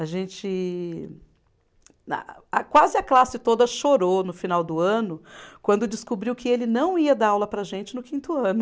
A gente. Na a quase a classe toda chorou no final do ano, quando descobriu que ele não ia dar aula para a gente no quinto ano.